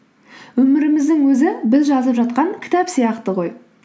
өміріміздің өзі біз жазып жатқан кітап сияқты ғой